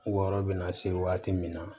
Wɔɔrɔ be na se waati min na